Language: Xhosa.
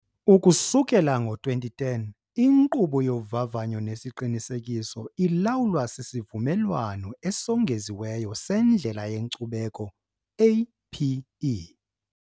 Ukusukela ngo-2010, inkqubo yovavanyo nesiqinisekiso ilawulwa siSivumelwano Esongeziweyo seNdlela yeNkcubeko APE.